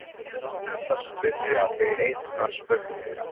Mig langar til að spyrja þig einnar spurningar.